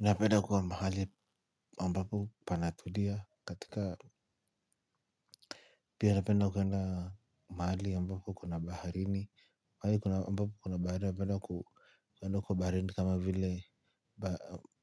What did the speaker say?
Napenda kuwa mahali ambapo panatulia katika pia napenda kwenda mahali ambako kuna baharini mabapo kuna baharini napenda kwa baharini kama vile